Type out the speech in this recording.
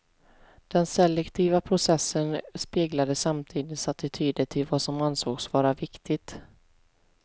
Den selektiva processen speglade samtidens attityder till vad som ansågs vara viktigt.